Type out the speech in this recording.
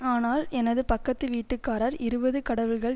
ஆனால் எனது பக்கத்து வீட்டுக்காரர் இருபது கடவுள்கள்